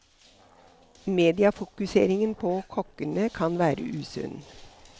Mediefokuseringen på kokkene kan være usunn.